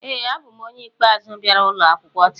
ee, abụ m onye ikpeazụ bịara ụlọ akwụkwọ taa